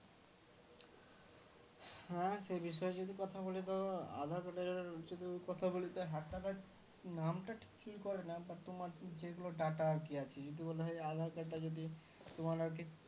হ্যাঁ সে বিষয়েও যদি কথা বলি তো aadhar card এর যদি কথা বলি তো hacker রা নামটা ঠিক চুরি করে না but তোমার যেগুলো data আরকি আছে যদি বলা হয় aadhar card টা যদি তোমার আরকি